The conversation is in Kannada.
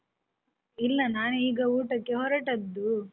ಇಲ್ಲ ನಾನೀಗ ಊಟಕ್ಕೆ ಹೊರಟದ್ದು.